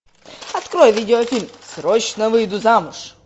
открой видеофильм срочно выйду замуж